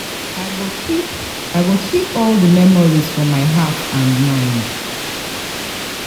I go keep I go keep all di memories for my heart and mind.